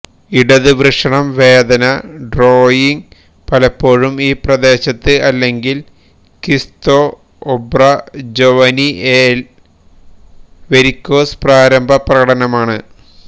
ഇടത് വൃഷണം വേദന ഡ്രോയിംഗ് പലപ്പോഴും ഈ പ്രദേശത്ത് അല്ലെങ്കിൽ കിസ്തൊഒബ്രജൊവനിഎ ലെ വെരിക്കോസ് പ്രാരംഭ പ്രകടനമാണ്